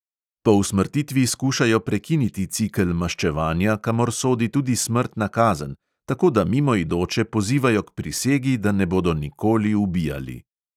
Po usmrtitvi skušajo prekiniti cikel maščevanja, kamor sodi tudi smrtna kazen, tako da mimoidoče pozivajo k prisegi, da ne bodo nikoli ubijali.